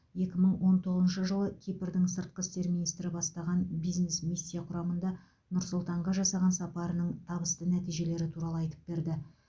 екі мың он тоғызыншы жылы кипрдың сыртқы істер министрі бастаған бизнес миссия құрамында нұр сұлтанға жасаған сапарының табысты нәтижелері туралы айтып берді